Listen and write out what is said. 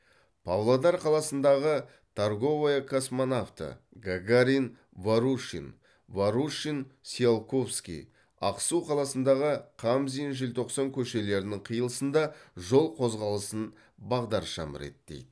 павлодар қаласындағы торговая космонавты гагарин ворушин ворушин циолковский ақсу қаласындағы қамзин желтоқсан көшелерінің қиылысында жол қозғалысын бағдаршам реттейді